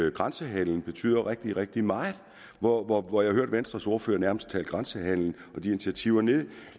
at grænsehandelen betyder rigtig rigtig meget hvor hvor jeg har hørt venstres ordfører nærmest tale grænsehandelen og de initiativer nederst